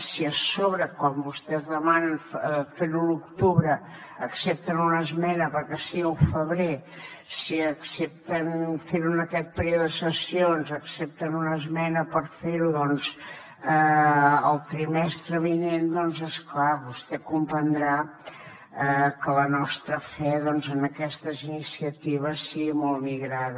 si a sobre quan vostès demanen fer ho a l’octubre accepten una esmena perquè sigui al febrer si accepten fer ho en aquest període de sessions accepten una esmena per fer ho doncs el trimestre vinent és clar vostè deu comprendre que la nostra fe en aquestes iniciatives sigui molt migrada